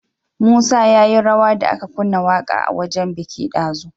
Musa yayi rawa da aka kunna waƙa a wajan biki dazu